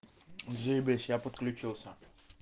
заебись я подключился